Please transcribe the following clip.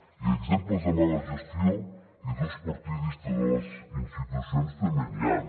i exemples de mala gestió i d’ús partidista de les institucions també n’hi han